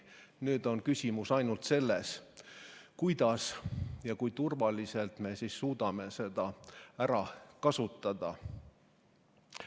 Nüüd on küsimus ainult selles, kuidas ja kui turvaliselt me suudame seda ära kasutada.